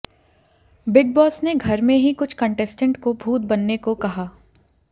big Boss ने घर में ही कुछ कंटेस्टेंट को भूत बनने को कहा